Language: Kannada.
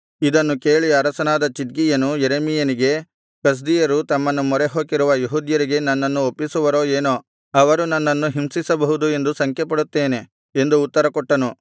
ಇದನ್ನು ಕೇಳಿ ಅರಸನಾದ ಚಿದ್ಕೀಯನು ಯೆರೆಮೀಯನಿಗೆ ಕಸ್ದೀಯರು ತಮ್ಮನ್ನು ಮೊರೆಹೊಕ್ಕಿರುವ ಯೆಹೂದ್ಯರಿಗೆ ನನ್ನನ್ನು ಒಪ್ಪಿಸುವರೋ ಏನೋ ಅವರು ನನ್ನನ್ನು ಹಿಂಸಿಸಬಹುದು ಎಂದು ಶಂಕೆಪಡುತ್ತೇನೆ ಎಂದು ಉತ್ತರಕೊಟ್ಟನು